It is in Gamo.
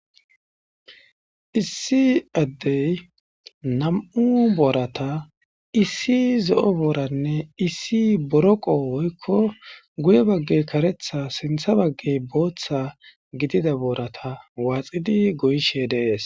Issi addey nam'u boorata issi zo'o booranne issi boroqo woykko guye baggey karetha sintha baggey booththa gidida boorata waaxidi goyishe deees.